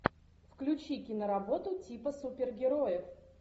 включи киноработу типа супергероев